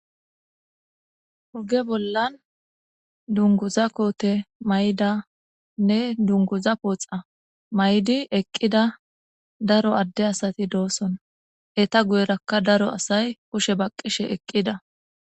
hoge bollan dunguza koote may7danne dunguza pooxa may7di eqqida daro adde asati dooson eta guyerakka daro asay kushe baqqishe eqqida